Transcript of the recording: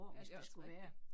Ja det er også rigtigt